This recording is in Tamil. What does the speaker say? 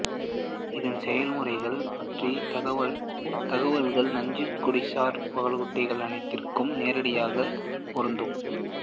இதன் செயல்முறைகள் பற்றிய தகவல்கள் நஞ்சுக்கொடிசார் பாலூட்டிகள் அனைத்திற்கும் நேரடியாக பொருந்தும்